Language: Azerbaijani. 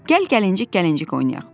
Gəl gəlincik-gəlincik oynayaq.